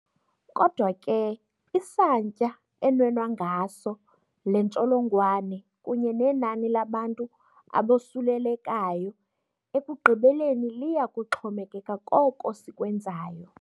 Kodwa ke, isantya enwenwa ngaso le ntsholongwane kunye nenani labantu abosulelekayo ekugqibeleni liya kuxhomekeka koko sikwenzayo.